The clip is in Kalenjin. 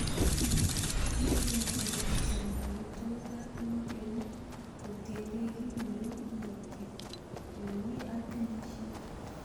Miten konyil chechang amitwogiik ab ingogenik kotienge kit neu ingokyet, ele mi ak kenyisiek .